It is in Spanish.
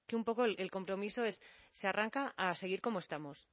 un poco el compromiso se arranca a seguir como estamos